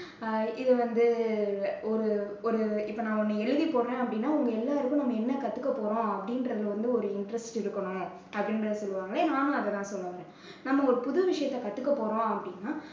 அஹ் இது வந்து ஒரு ஒரு இப்போ நான் ஒண்ணு எழுதி போடுறேன் அப்படின்னா உங்க எல்லாருக்கும் நம்ம என்ன கத்துக்க போறோம் அப்படின்றதுல வந்து ஒரு interest இருக்கணும் அப்படின்றதை சொல்லுவாங்க. நானும் அதைத்தான் சொல்ல வந்தேன். நம்ம ஒரு புது விஷயத்தை கத்துக்க போறோம் அப்படின்னா